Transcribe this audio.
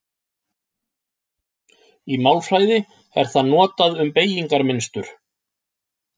Í málfræði er það notað um beygingarmynstur.